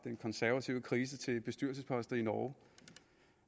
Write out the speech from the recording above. den konservative krise til bestyrelsesposter i norge